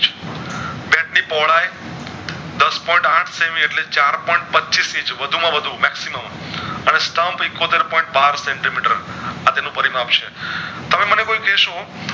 એની પોહળાઈ દશ point આઠ સેમી એટલે ચાર point પચીશ ઈચ વધુ માં વધુ meximum અને stump એકોતેર point બાર સેન્ટી મીટર આતેનું પરી માપ છે તમે મને કોઈ કેશો